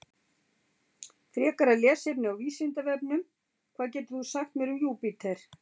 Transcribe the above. Frekara lesefni á Vísindavefnum: Hvað getur þú sagt mér um Júpíter?